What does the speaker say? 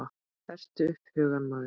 Hertu upp hugann maður!